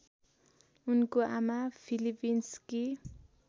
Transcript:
उनको आमा फिलिपिन्सकी